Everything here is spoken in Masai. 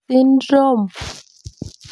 Syndrome?